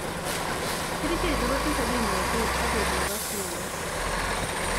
Kerichek chu kotese kimnotet, ak koik nekasunot